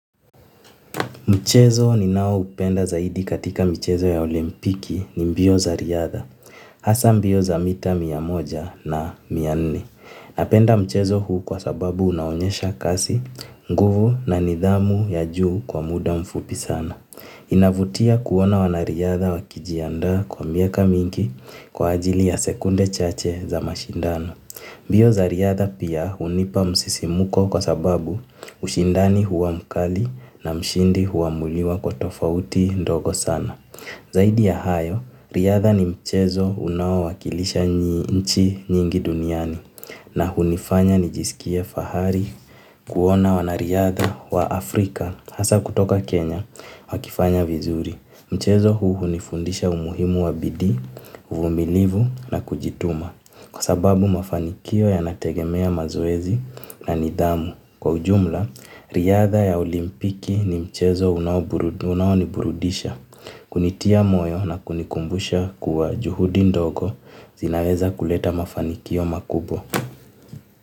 Mchezo ninao upenda zaidi katika mchezo ya olimpiki ni mbio za riadha, hasa mbio za mita miya moja na miya nne. Napenda mchezo huu kwa sababu unaonyesha kasi, nguvu na nidhamu ya juu kwa muda mfupi sana. Inavutia kuona wanariadha wakijianda kwa miaka mingi kwa ajili ya sekunde chache za mashindano. Mbio za riadha pia hunipa msisimuko kwa sababu ushindani huwa mkali na mshindi huwamuliwa kwa tofauti ndogo sana. Zaidi ya hayo, riadha ni mchezo unawo wakilisha nchi nyingi duniani na hunifanya nijisikie fahari kuona wana riadha wa Afrika hasa kutoka Kenya wakifanya vizuri. Mchezo huu nifundisha umuhimu wabidi, uvumilivu na kujituma kwa sababu mafanikio yanategemea mazoezi na nidamu. Kwa ujumla, riadha ya olimpiki ni mchezo unawoniburudisha, kunitia moyo na kunikumbusha kuwa juhudi ndogo zinaweza kuleta mafanikio makubwa.